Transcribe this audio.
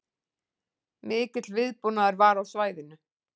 Mikill viðbúnaður var á svæðinu